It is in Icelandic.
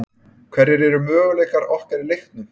Hverjir eru möguleikar okkar í leiknum?